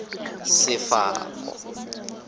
sefako